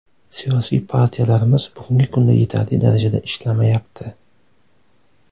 Siyosiy partiyalarimiz bugungi kunda yetarli darajada ishlamayapti.